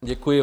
Děkuji.